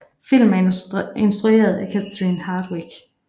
Filmen er instrueret af Catherine Hardwicke